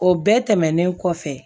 O bɛɛ tɛmɛnen kɔfɛ